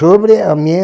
Sobre a minha